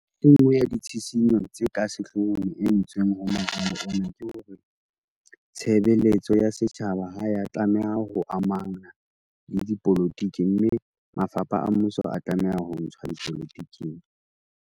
E nngwe ya ditshisinyo tse ka sehlohong e entsweng ho moralo ona ke hore tshebe letso ya setjhaba ha ya tla meha ho amana le dipolotiki mme mafapha a mmuso a tlameha ho ntshwa dipolo tiking.